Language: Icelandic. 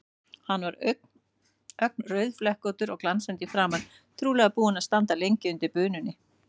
Hann var ögn rauðflekkóttur og glansandi í framan, trúlega búinn að standa lengi undir bununni.